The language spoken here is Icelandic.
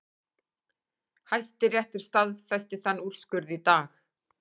Hæstiréttur staðfesti þann úrskurð í dag